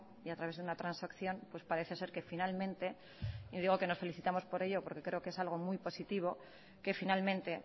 y a través de una transacción pues parece ser que finalmente y digo que nos felicitamos por ello porque creo que es algo muy positivo que finalmente